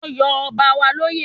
Wọ́n yọ ọba wa lóyè